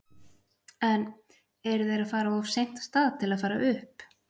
En eru þeir að fara of seint af stað til að fara upp?